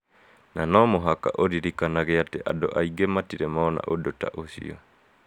Na no mũhaka ũririkanage atĩ andũ aingĩ matirĩ mona ũndũ ta ũcio.